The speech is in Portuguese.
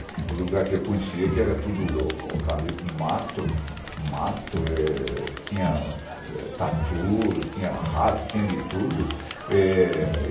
O lugar que eu conhecia que era tudo eucalipto, mato, mato eh tinha tatu, tinha rato, tinha de tudo. Eh...